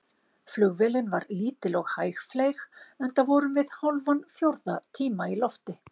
Flugvélin var lítil og hægfleyg, enda vorum við hálfan fjórða tíma í lofti.